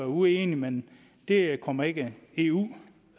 uenige men det kommer ikke eu